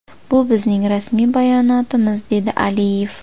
Bu bizning rasmiy bayonotimiz”, dedi Aliyev.